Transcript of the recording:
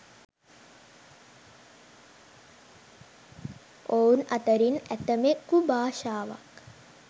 ඔවුන් අතරින් ඇතමෙකු භාෂාවක්